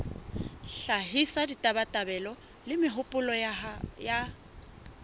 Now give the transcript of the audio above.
hlahisa ditabatabelo le mehopolo ya